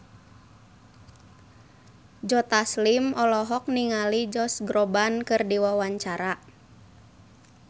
Joe Taslim olohok ningali Josh Groban keur diwawancara